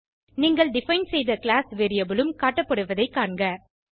நீங்கள் டிஃபைன் செய்த class variable உம் காட்டப்படுவதைக் காண்க